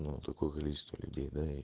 ну такое количество людей да и